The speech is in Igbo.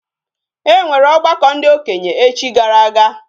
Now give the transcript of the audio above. E nwere ogbako ndi okenye echi gara aga